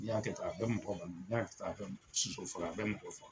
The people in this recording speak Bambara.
I y'a kɛ tan, a bɛ mɔgɔ bana, n'i y'a kɛ tan a bɛ mɔgɔ faga.